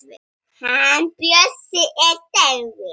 Hann Bjössi er dáinn.